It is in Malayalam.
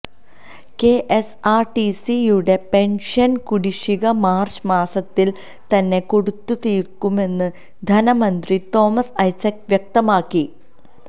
കെഎസ്ആര്ടിസിയുടെ പെന്ഷന് കുടിശ്ശിക മാര്ച്ച് മാസത്തില് തന്നെ കൊടുത്തുതീര്ക്കുമെന്ന് ധനമന്ത്രി തോമസ് ഐസക്ക് വ്യക്തമാക്കി